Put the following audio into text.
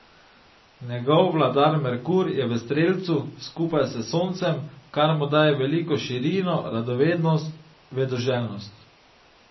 Njegov vladar Merkur je v strelcu, skupaj s Soncem, kar mu daje veliko širino, radovednost, vedoželjnost.